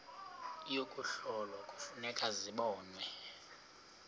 yokuhlola kufuneka zibonwe